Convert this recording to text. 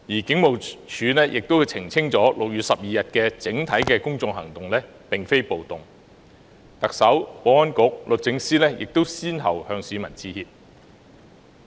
警務處亦澄清6月12日的整體公眾行動並非暴動，特首、保安局局長及律政司司長亦先後向市民致歉。